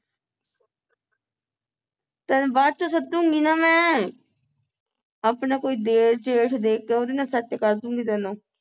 ਤੈਨੂੰ ਬਾਅਦ ਚ ਸਾਧੂਗੀ ਨਾ ਮੈਂ ਆਪਣਾ ਕੋਈ ਦੇਰ ਜੇਠ ਦੇਖ ਕੇ ਉਹਦੇ ਨਾਲ set ਕਰ ਦੂਗੀ ਤੈਨੂੰ